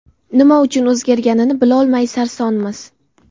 Nima uchun o‘zgarganini bilolmay sarsonmiz.